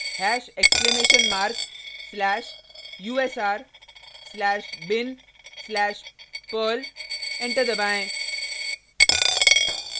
hash exclamation mark slash u s r slash bin slash perl enter दबाएँ